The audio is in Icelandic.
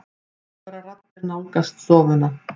Háværar raddir nálgast stofuna.